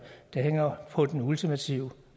der hænger på den ultimative